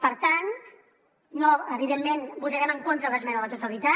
per tant evidentment votarem en contra de l’esmena a la totalitat